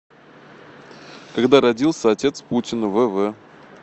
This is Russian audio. когда родился отец путина в в